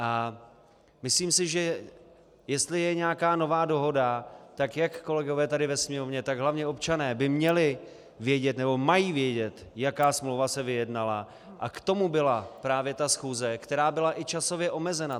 A myslím si, že jestli je nějaká nová dohoda, tak jak kolegové tady ve Sněmovně, tak hlavně občané by měli vědět nebo mají vědět, jaká smlouva se vyjednala, a k tomu byla právě ta schůze, která byla i časově omezena.